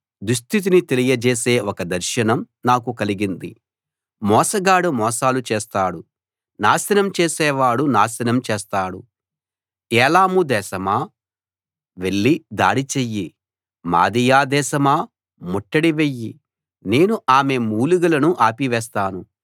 దుస్థితిని తెలియ జేసే ఒక దర్శనం నాకు కలిగింది మోసగాడు మోసాలు చేస్తాడు నాశనం చేసేవాడు నాశనం చేస్తాడు ఏలాము దేశమా వెళ్ళి దాడి చెయ్యి మాదియా దేశమా ముట్టడి వెయ్యి నేను ఆమె మూలుగులను ఆపివేస్తాను